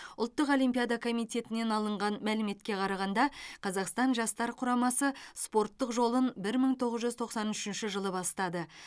ұлттық олимпиада комитетінен алынған мәліметке қарағанда қазақстан жастар құрамасы спорттық жолын бір мың тоғыз жүз тоқсан үшінші жылы бастады